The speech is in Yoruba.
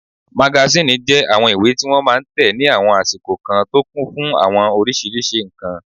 Magasíìnì jẹ́ àwọn ìwé tí wọ́n máa n tẹ ní àwọn àsìkò kan tó kún fún àwọn oríṣiríṣi ǹkan